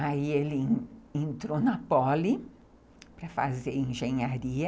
Aí ele entrou na Poli para fazer engenharia.